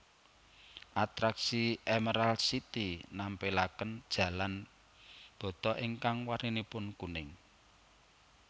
Atraksi Emerald City nampilaken jalan bata ingkang warninipun kuning